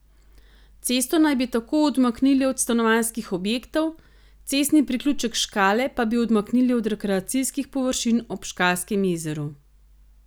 Cesto naj bi tako odmaknili od stanovanjskih objektov, cestni priključek Škale pa bi odmaknili od rekreacijskih površin ob Škalskem jezeru.